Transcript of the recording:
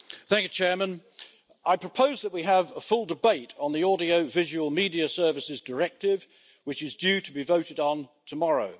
Mr President, I propose that we have a full debate on the Audiovisual Media Services Directive, which is due to be voted on tomorrow.